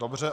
Dobře.